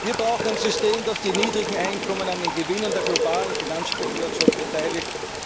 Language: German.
Wir brauchen ein System, das die niedrigen Einkommen an den Gewinnen der globalen Finanzspekulation beteiligt.